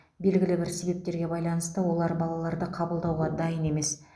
белгілі бір себептерге байланысты олар балаларды қабылдауға дайын емес